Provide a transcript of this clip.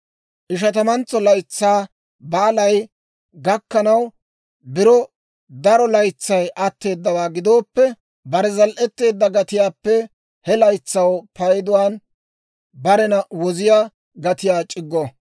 Ishatamantso Laytsaa Baalay gakkanaw biro daro laytsay atteedawaa gidooppe, bare zal"etteedda gatiyaappe he laytsaa payduwaan barena woziyaa gatiyaa c'iggo.